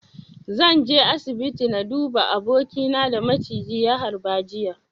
Zan je asibiti na duba abokina da maciji ya harba jiya.